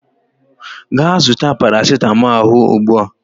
Gaa zụta parasịtamọọl ahụ ugbua!